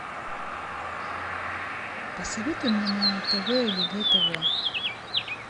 посоветуй мне на тв егэ тв